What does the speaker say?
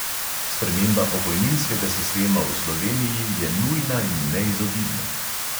Sprememba pokojninskega sistema v sloveniji je nujna in neizogibna.